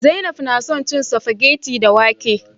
Zainab na son cin spaghetti da wake